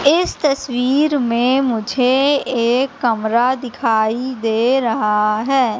इस तस्वीर में मुझे एक कमरा दिखाई दे रहा है।